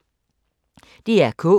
DR K